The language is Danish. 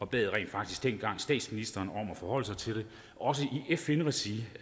bad rent faktisk dengang statsministeren om at forholde sig til det også i fn regi